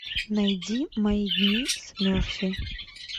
найди мои дни с мерфи